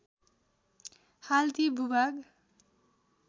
हाल ती भूभाग